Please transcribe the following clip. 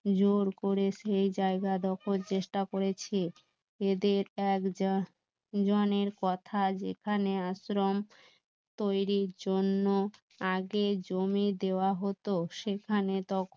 জোর করে সেই জায়গা দখল চেষ্টা করেছে এদের এক জনের কথা যেখানে আশ্রম তৈরির জন্য আগে জমি দেওয়া হতো সেখানে তখন